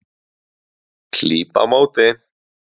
Klíp á móti.